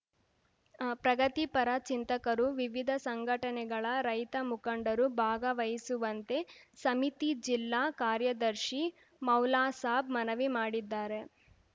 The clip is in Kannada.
ಪ್ರಗತಿಪರ ಚಿಂತಕರು ವಿವಿಧ ಸಂಘಟನೆಗಳ ರೈತ ಮುಖಂಡರು ಭಾಗವಹಿಸುವಂತೆ ಸಮಿತಿ ಜಿಲ್ಲಾ ಕಾರ್ಯದರ್ಶಿ ಮೌಲಾಸಾಬ್‌ ಮನವಿ ಮಾಡಿದ್ದಾರೆ